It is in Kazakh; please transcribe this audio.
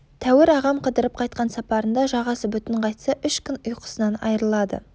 тәуір ағам қыдырып қайтқан сапарында жағасы бүтін қайтса үш күн ұйқысынан айрылады